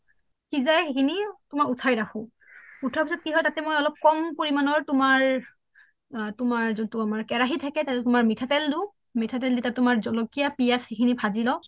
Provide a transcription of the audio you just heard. সিজাই সিখিনি উঠাই উঠাই ৰাখোঁ উঠোৱাৰ পিছত কি তাতে মই অলপ কম পৰিমাণৰ তোমাৰ যোন টো আমাৰ কেৰাহি থাকে তাতে তোমাৰ মিঠা তেল দিও মিঠা তেল দি তাত তোমাৰ জলকীয়া পিয়াজ এইখিনি ভাজি লওঁ